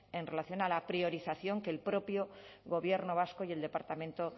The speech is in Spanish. en relación a la priorización que el propio gobierno vasco y el departamento